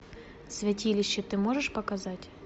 святилище ты можешь показать